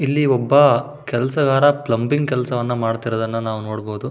ಇಲ್ಲಿ ಒಬ್ಬ ಕೆಲೆಸಗಾರ ಪ್ಲಮ್ಬಿಂಗ್ ಕೆಲಸವನ್ನು ಮಾಡ್ತಾ ಇರುವುದನ್ನು ನಾವು ನೋಡಬಹುದು.